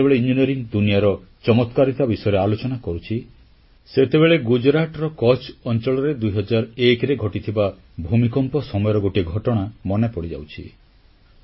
ମୁଁ ଆଜି ଯେତେବେଳେ ଇଞ୍ଜିନିୟରିଂ ଦୁନିଆର ଚମତ୍କାରିତା ବିଷୟରେ ଆଲୋଚନା କରୁଛି ସେତେବେଳେ ଗୁଜରାଟର କଚ୍ଛ ଅଂଚଳରେ 2001ରେ ଘଟିଥିବା ଭୂମିକମ୍ପ ସମୟର ଗୋଟିଏ ଘଟଣା ମନେ ପଡ଼ିଯାଉଛି